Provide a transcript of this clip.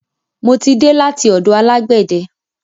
Mo ti dé láti ọ̀dọ̀ alágbẹ̀de.